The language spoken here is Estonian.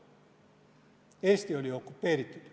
Eesti oli okupeeritud.